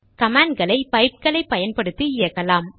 கமாண்ட்களை பைப்களை பயன்படுத்தி இயக்கலாம்